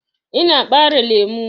Ina ɓare lemu.